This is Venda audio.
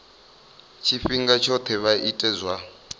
tshifhinga tshoṱhe vha ite zwa